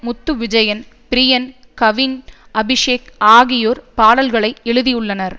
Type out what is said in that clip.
முத்து விஜயன் பிரியன் கவின் அபிஷேக் ஆகியோர் பாடல்களை எழுதியுள்ளனர்